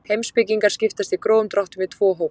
Heimspekingar skiptast í grófum dráttum í tvo hópa.